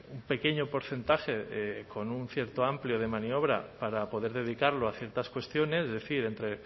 un pequeño porcentaje con un cierto amplio de maniobra para poder dedicarlo a ciertas cuestiones es decir entre